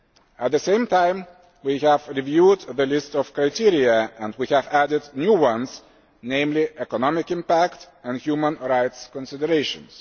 At the same time, we have reviewed the list of criteria and we have added new ones, namely economic impact and human rights considerations.